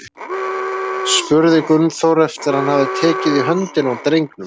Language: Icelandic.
spurði Gunnþór, eftir að hann hafði tekið í höndina á drengnum.